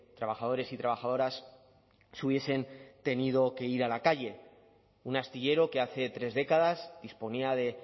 trabajadores y trabajadoras se hubiesen tenido que ir a la calle un astillero que hace tres décadas disponía de